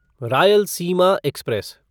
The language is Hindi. रायलसीमा एक्सप्रेस